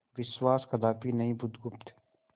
विश्वास कदापि नहीं बुधगुप्त